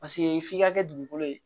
Paseke f'i ka kɛ dugukolo ye